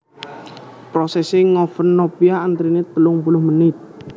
Prosèsè ngoven nopia antranè telung puluh menit